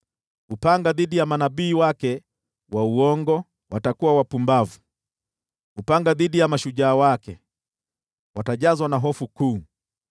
Upanga dhidi ya manabii wake wa uongo! Watakuwa wapumbavu. Upanga dhidi ya mashujaa wake! Watajazwa na hofu kuu